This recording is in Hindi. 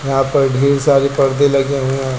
यहां पर ढेर सारे परदे लगे हुए हैं।